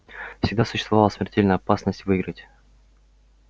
всегда существовала смертельная опасность выиграть